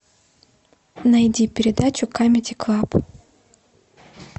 найди передачу камеди клаб